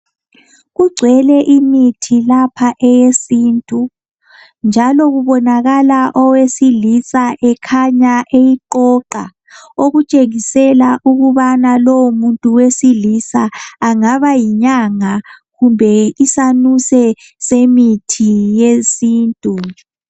Kugcwele imithi lapha eyesintu njalo kubonakala owesilisa ekhanya eyiqoqa okutshengisela ukabana lowo muntu wesilisa angaba yinyanga kumbe isanuse semithi yesintu